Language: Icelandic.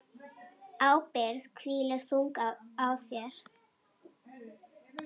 Ábyrgð hvílir þung á þér.